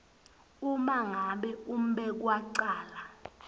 uma ngabe umbekwacala